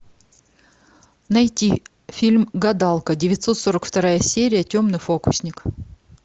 найти фильм гадалка девятьсот сорок вторая серия темный фокусник